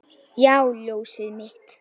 Já, ljósið mitt.